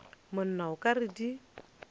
monna o ka re di